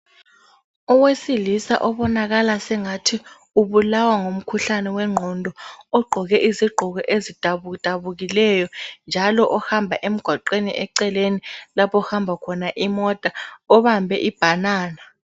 Owesilisa obonakala sengathi ubulawa ngumkhuhlane wengqondo, ogqoke izigqoko ezidabudabukileyo njalo ohamba emgwaqweni eceleni lapho okuhamba khona imota. Obambe ibhanana